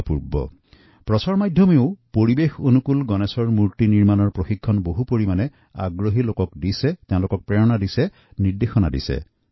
আমাৰ মি়ডিয়া হাউচতো এনে ইকোফ্ৰেণ্ডলি গণেশৰ মূৰ্তি তৈয়াৰ কৰি সেই বিষয়ে সজাগ কৰি তুলিছে উৎসাহিত কৰিছে আৰু তত্বাৱধানো কৰিছে